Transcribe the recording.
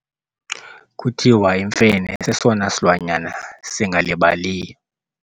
Kuthiwa imfene sesona silwanyana singalibaliyo.